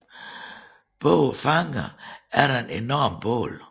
Bag fangerne er der et enormt bål